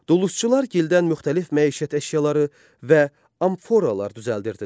Dulusçular gildən müxtəlif məişət əşyaları və amforalar düzəldirdilər.